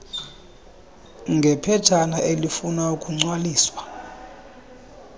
ngephetshana elifuna ukugcwaliswa